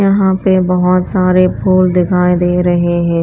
यहां पे बहोत सारे फूल दिखाई दे रहे हैं।